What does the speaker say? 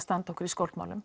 standa okkur í